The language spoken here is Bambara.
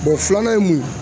filanan ye mun ye